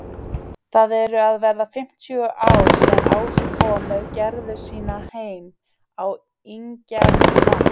Það eru að verða fimmtíu ár síðan Ási kom með Gerðu sína heim á Ingjaldssand.